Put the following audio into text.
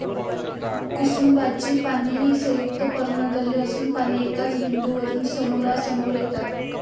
कुसुम्बाची पाने ही संयुक्त पर्णदले असून पाने एकाच बिंदू वरून समोरासमोर येतात.